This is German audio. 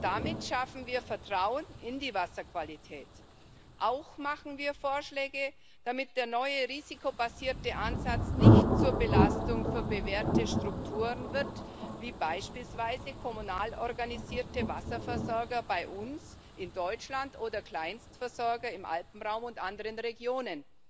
Damit schaffen wir Vertrauen in die Wasserqualität. Auch machen wir Vorschläge, damit der neue risikobasierte Ansatz nicht zur Belastung für bewährte Strukturen wird wie beispielsweise kommunal organisierter Wasserversorger bei uns in Deutschland oder Kleinstversorger im Alpenraum und anderen Regionen.